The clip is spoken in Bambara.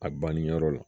A banniyɔrɔ la